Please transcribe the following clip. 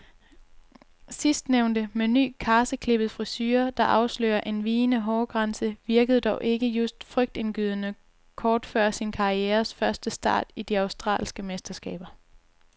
Sidstnævnte, med ny, karseklippet frisure der afslører en vigende hårgrænse, virkede dog ikke just frygtindgydende kort før sin karrieres første start i de australske mesterskaber.